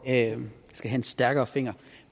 have en stærkere finger